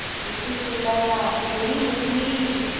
किच्चू चिल्लाया मेरी मछली